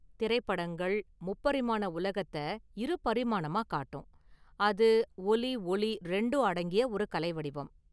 திரைப்படங்கள், முப்பரிமாண உலகத்தை இருபரிமாணமா காட்டும், அது ஒலிஒளி ரெண்டும் அடங்கிய ஒரு கலை வடிவம்.